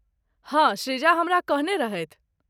हँ, सृजा हमरा कहने रहथि।